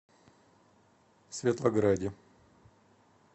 светлограде